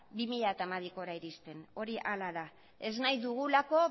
bi mila hamabirako iristen hori hala da ez nahi dugulako